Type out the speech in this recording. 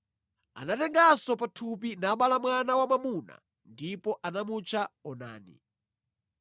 Anatenganso pathupi nabala mwana wa mwamuna ndipo anamutcha Onani.